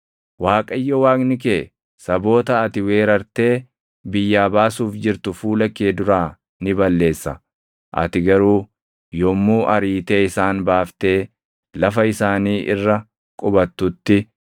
Waaqayyo Waaqni kee saboota ati weerartee biyyaa baasuuf jirtu fuula kee duraa ni balleessa. Ati garuu yommuu ariitee isaan baaftee lafa isaanii irra qubattutti,